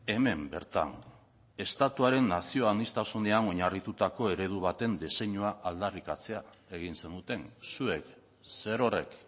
hemen bertan estatuaren nazio aniztasunean oinarritutako eredu baten diseinua aldarrikatzea egin zenuten zuek zerorrek